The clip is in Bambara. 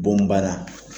Bon bana